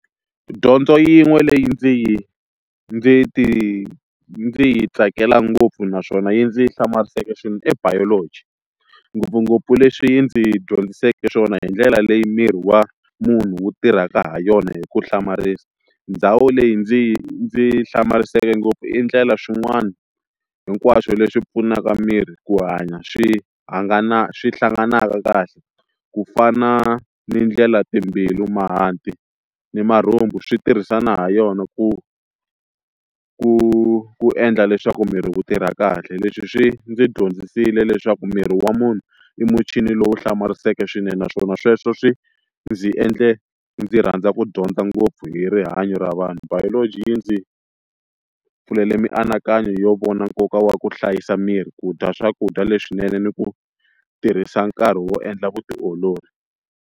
Dyondzo yin'we leyi ndzi yi ndzi ti ndzi yi tsakela ngopfu naswona yi ndzi hlamarisaka swilo i Biology ngopfungopfu leswi yi ndzi dyondzisiweke swona hi ndlela leyi miri wa munhu wu tirhaka ha yona hi ku hlamarisa ndhawu leyi ndzi yi ndzi hlamariseke ngopfu i ndlela swin'wani hinkwaswo leswi pfunaka miri ku hanya swi swi hlanganaka kahle ku fana ni ndlela timbilu mahanti ni marhumbu swi tirhisana ha yona ku ku endla leswaku miri wu tirha kahle leswi swi ndzi dyondzisile leswaku miri wa munhu i muchini lowu hlamariseke swinene naswona sweswo swi ndzi endle ndzi rhandza ku ngopfu hi rihanyo ra vanhu Biology yi ndzi pfulele mianakanyo yo vona nkoka wa ku hlayisa miri ku dya swakudya leswinene ni ku tirhisa nkarhi wo endla vutiolori.